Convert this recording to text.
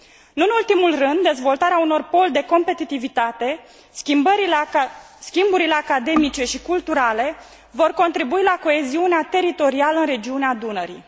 Nu în ultimul rând, dezvoltarea unor poli de competitivitate, schimburile academice și culturale vor contribui la coeziunea teritorială în regiunea Dunării.